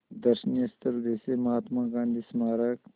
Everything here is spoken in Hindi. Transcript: दर्शनीय स्थल जैसे महात्मा गांधी स्मारक